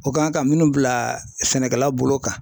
O kan ka minnu bila sɛnɛkɛla bolo kan